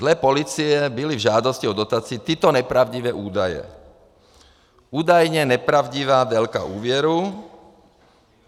Dle policie byly v žádosti o dotaci tyto nepravdivé údaje: údajně nepravdivá délka úvěru.